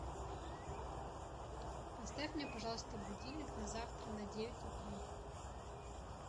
поставь мне пожалуйста будильник на завтра на девять утра